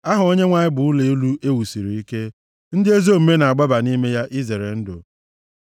Aha Onyenwe anyị bụ ụlọ elu e wusiri ike, ndị ezi omume na-agbaba nʼime ya izere ndụ.